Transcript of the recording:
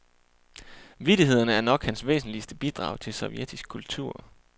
Vittighederne er nok hans væsentligste bidrag til sovjetisk kultur.